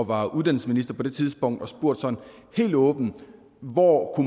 var uddannelsesminister på det tidspunkt og spurgt sådan helt åbent hvor